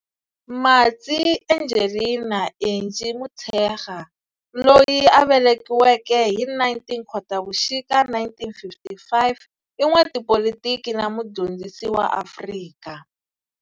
Matsie Angelina Angie Motshekga loyi a velekiweke hi 19 Khotavuxika 1955 i n'watipolitiki na mudyondzisi wa Afrika.